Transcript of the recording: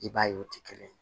I b'a ye o tɛ kelen ye